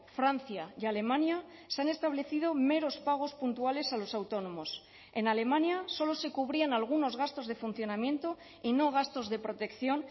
francia y alemania se han establecido meros pagos puntuales a los autónomos en alemania solo se cubrían algunos gastos de funcionamiento y no gastos de protección